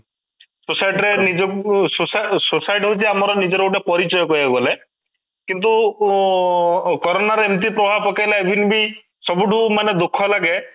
society ରେ ନିଜକୁ society ହଉଛି ଆମର ନିଜର ଗୋଟେ ପରିଚୟ କହିବାକୁ ଗଲେ କିନ୍ତୁ ଉଁ corona ର ଏମିତି ପ୍ରଭାବ ପକେଇଲା even ବି ସବୁଠୁ ମାନେ ଦୁଃଖ ଲାଗେ